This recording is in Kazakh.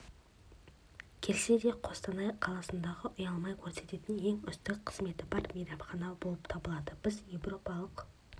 келсе де қостанай қаласындағы ұялмай көрсететін ең үздік қызметі бар мейманхана болып табылады біз еуропалық